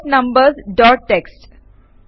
sort numbers dot TXT